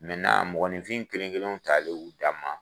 mɔgɔninfin kelen kelenw talen u dama